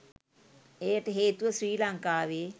එයට හේතුව ශ්‍රී ලංකාවේ